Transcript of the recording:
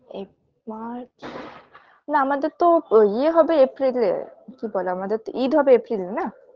app March না আমাদের তো ইয়ে হবে April -এ কি বলে আমাদের তো ঈদ হবে April -এ না